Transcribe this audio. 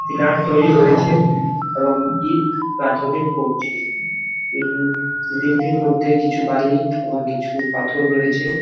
Pillar তৈরী হয়েছে এবং ইঁট গাথুনি করছে বিল্ডিং -টির মধ্যে কিছু বালি এবং কিছু পাথর রয়েছে ।